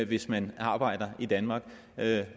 hvis man arbejder i danmark